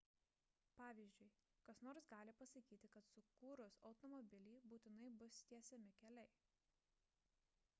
pavyzdžiui kas nors gali pasakyti kad sukūrus automobilį būtinai bus tiesiami keliai